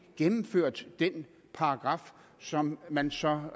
gennemført den paragraf som man så